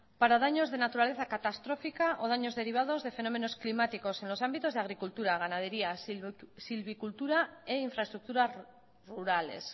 para daños de naturaleza catastrófica o daños derivados de fenómenos climáticos en los ámbitos de agricultura ganadería silvicultura e infraestructuras rurales